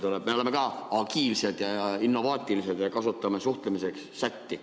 Me oleme ka agiilsed ja innovaatilised ja kasutame suhtlemiseks chat'i.